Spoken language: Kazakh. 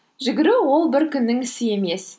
жүгіру ол бір күннің ісі емес